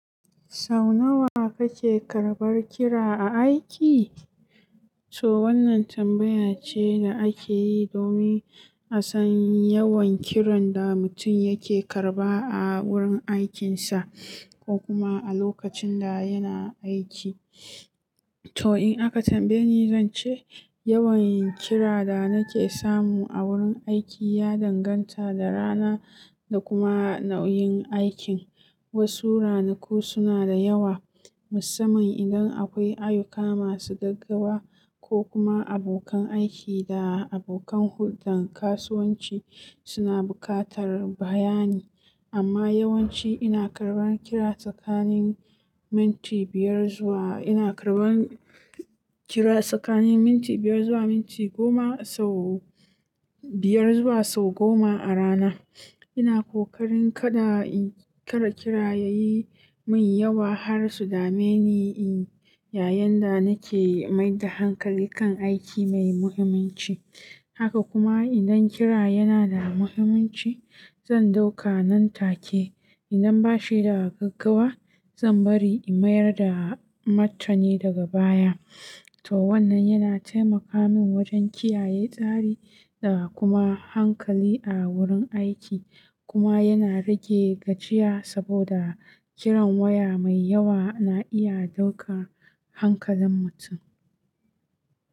Sau nawa kake karɓar kira a aiki? To wannan tambaya ce da ake yi domin a san yawan kiran da mutum yake karɓa a wurin aikinsa ko kuma a lokacin da yana aiki. To in aka tambaye ni, zan ce yawan kira da nake samu a wurin aiki ya danganta da rana da kuma nau'in aikin. Wasu ranaku suna da yawa, musamman idan akwai ayuka masu gaggawa ko kuma abokan aiki da abokan hulɗar kasuwanci suna buƙatar bayani. Amma yawanci ina karɓan kira tsakanin minti biyar zuwa, ina karɓan kira tsakanin minti biyar zuwa minti goma sau, biyar zuwa sau goma a rana. Ina ƙoƙarin kada kira yayi min yawa har su dame ni in yayin da nake maida hankali kan aiki mai muhimmanci. Haka kuma idan kira yana da muhimmanci, zan ɗauka nan take. Idan bashi da gaggawa, zan bari in mayar da matarni daga baya. Toh wannan yana taimakamin wajen kiyaye tsari da kuma hankali a wurin aiki. Kuma yana rage gajiya saboda kiran waya mai yawa na iya dauka hankalin mutum.